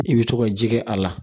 I bɛ to ka ji kɛ a la